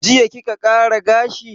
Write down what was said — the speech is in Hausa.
Jiya kika ƙara gashi?